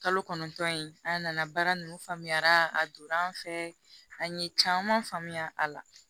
Kalo kɔnɔntɔn in an nana baara nunnu faamuyara a donna an fɛ an ye caman faamuya a la